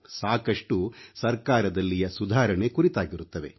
ಸಾಕಷ್ಟು ಸರ್ಕಾರದಲ್ಲಿಯ ಸುಧಾರಣೆ ಕುರಿತಾಗಿರುತ್ತವೆ